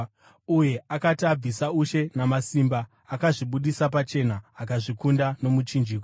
Uye akati abvisa ushe namasimba, akazvibudisa pachena, akazvikunda nomuchinjikwa.